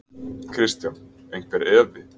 Kristján: Einhver efi?